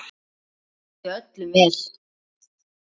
Hann vildi öllum vel.